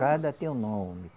Cada tem um nome.